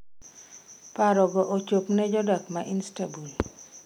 "Paroga ochop ne jodak ma Istanbul".